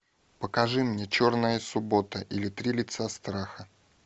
покажи мне черная суббота или три лица страха